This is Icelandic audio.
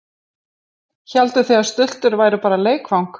Hélduð þið að stultur væru bara leikvang?